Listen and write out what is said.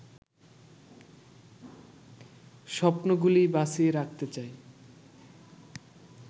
স্বপ্নগুলি বাঁচিয়ে রাখতে চাই